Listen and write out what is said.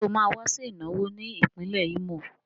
Ṣé ó máa wá sí ìnáwó ní ìpínlẹ̀ Ímò?